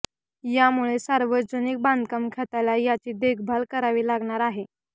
यामुळे सार्वजनिक बांधकाम खात्याला याची देखभाल करावी लागणार आहे